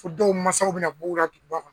Fo dɔw masaw bina b'u la duguba kɔnɔ